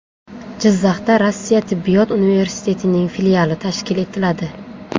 Jizzaxda Rossiya tibbiyot universitetining filiali tashkil etiladi.